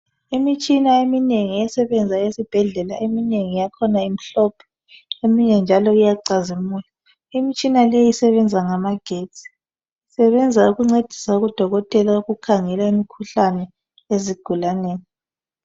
Imitshina eminengi esebenza esibhedlela eminengi yakhona imihlophe eminye njalo iyacazimula imitshina leyi isebenza ngamagetsi isebenza ukuncedisa odokotela ukukhangela imikhuhlane ezigulaneni